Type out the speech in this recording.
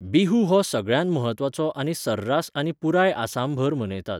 बिहू हो सगळ्यांत म्हत्वाचो आनी सर्रास आनी पुराय आसामभर मनयतात.